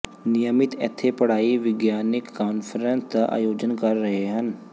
ਨਿਯਮਿਤ ਇੱਥੇ ਪੜ੍ਹਾਈ ਵਿਗਿਆਨਕ ਕਾਨਫਰੰਸ ਦਾ ਆਯੋਜਨ ਕਰ ਰਹੇ ਹਨ